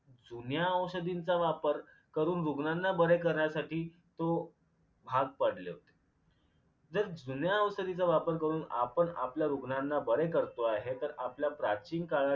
जुन्या औषधींचा वापर करून रुग्णांना बरे करण्यासाठी तो भाग पडले होते जर जुन्या औषधीचा वापर करून आपण आपल्या रुग्णांना बरे करतो आहे तर आपल्या प्राचीन काळात